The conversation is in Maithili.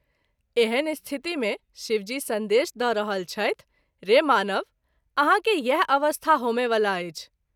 एहन स्थिति मे शिव जी संदेश द’ रहल छथि - रे मानव ! आहाँ के इएह अवस्था होमए वला अछि।